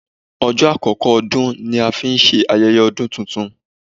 Ọjọ́ àkọ́kọ́ ọdún ni a ń ṣe ayẹyẹ ọdún titun.